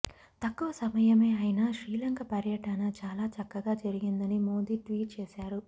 తక్కువ సమయమే అయినా శ్రీలంక పర్యటన చాలా చక్కగా జరిగిందని మోదీ ట్వీట్ చేశారు